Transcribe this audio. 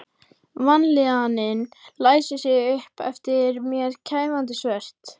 Vanlíðanin læsir sig upp eftir mér kæfandi svört.